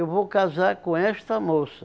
Eu vou casar com esta moça.